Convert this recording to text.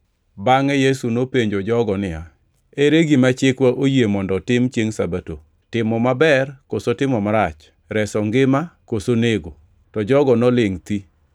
Bangʼe Yesu nopenjo jogo niya, “Ere gima chikwa oyie mondo otim chiengʼ Sabato? Timo maber koso timo marach, reso ngima koso nego?” To jogo nolingʼ thi.